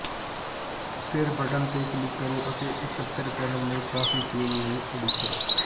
ਫਿਰ ਬਟਨ ਤੇ ਕਲਿਕ ਕਰੋ ਅਤੇ ਇਕੱਤਰ ਕਰਨ ਲਈ ਕਾਫ਼ੀ ਪੀਣ ਲਈ ਉਡੀਕ ਕਰੋ